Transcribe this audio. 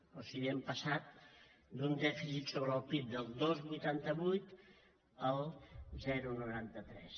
o sigui hem passat d’un dèficit sobre el pib del dos coma vuitanta vuit al zero coma noranta tres